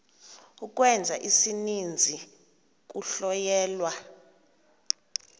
ukwenza isininzi kuhlonyelwa